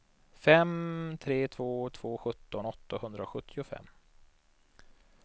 fem tre två två sjutton åttahundrasjuttiofem